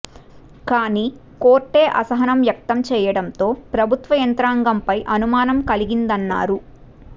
కాని కోర్టే అసహనం వ్యక్తం చేయడంతో ప్రభుత్వ యంత్రాంగంపై అనుమానం కలిగిందన్నారు